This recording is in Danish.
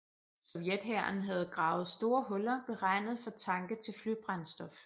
Sovjet hæren havde gravet store huller beregnet for tanke til flybrændstof